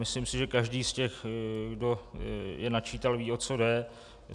Myslím si, že každý z těch, kdo je načítal, ví, o co jde.